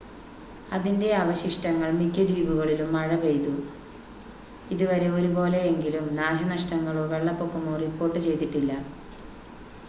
അതിൻ്റെ അവശിഷ്ടങ്ങൾ മിക്ക ദ്വീപുകളിലും മഴ പെയ്തു ഇതുവരെ ഒരു പോലെ എങ്കിലും നാശനഷ്ടങ്ങളോ വെള്ളപ്പൊക്കമോ റിപ്പോർട്ട് ചെയ്തിട്ടില്ല